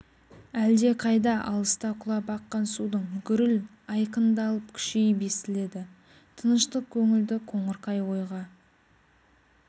әлде қайда алыста құлап аққан судың гүріл айқындалып күшейіп естіледі тыныштық көңілді қоңырқай ойға